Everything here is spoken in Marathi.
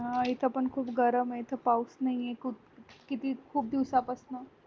हा इथे पण खूप गरमए खूप पाऊस नाहीये खूप किती खूप दिवसापानं